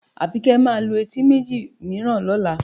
Àbíkẹ́ máa lu etí méjì mìíràn lọ́la